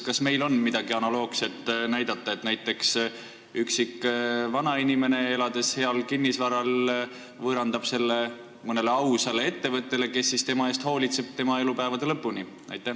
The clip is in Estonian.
Kas meil on midagi analoogset, et üksik vanainimene, kellel on väärtuslik kinnisvara, võõrandab selle mõnele ausale ettevõttele, kes siis tema eest hoolitseb tema elupäevade lõpuni?